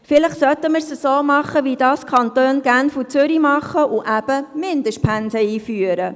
Vielleicht sollten wir es so machen wie die Kantone Genf und Zürich und Mindestpensen einführen.